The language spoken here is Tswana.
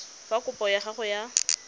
fa kopo ya gago ya